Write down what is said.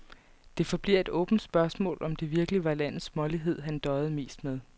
Det forbliver et åbent spørgsmål, om det virkelig var landets smålighed, han døjede mest med.